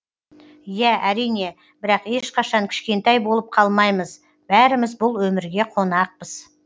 иә әрине бірақ ешқашан кішкентай болып қалмаймыз бәріміз бұл өмірге қонақпыз